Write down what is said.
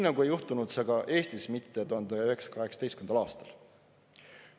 Seda ei juhtunud ka Eestis 1918. aastal.